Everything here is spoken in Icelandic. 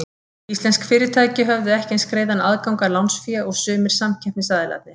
Íslensk fyrirtæki höfðu ekki eins greiðan aðgang að lánsfé og sumir samkeppnisaðilarnir.